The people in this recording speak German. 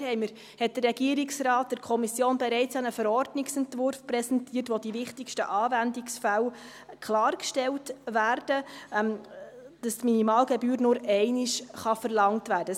Da hat der Regierungsrat der Kommission bereits einen Verordnungsentwurf präsentiert, in dem die wichtigsten Anwendungsfälle klargestellt werden, dass die Anwendungsgebühr nur einmal verlangt werden kann.